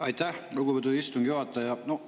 Aitäh, lugupeetud istungi juhataja!